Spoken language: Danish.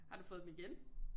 Har du fået dem igen